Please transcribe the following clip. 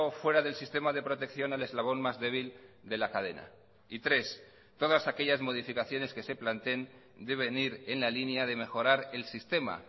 fuera del sistema de protección al eslabón más débil de la cadena y tres todas aquellas modificaciones que se planteen deben ir en la línea de mejorar el sistema